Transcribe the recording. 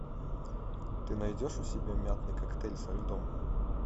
ты найдешь у себя мятный коктейль со льдом